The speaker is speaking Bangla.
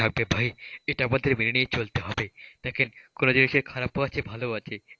থাকে ভাই এটা আমাদের মেনে নিয়ে চলতে হবে। দেখেন কোন জিনিসের খারাপও আছে ভালোও আছে,